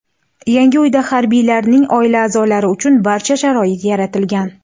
Yangi uyda harbiylarning oila a’zolari uchun barcha sharoit yaratilgan.